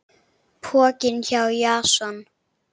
Pokinn hjá Jason